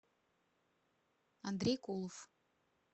андрей кулов